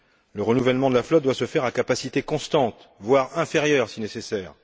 Le renouvellement de la flotte doit se faire à capacité constante, voire inférieure, si nécessaire.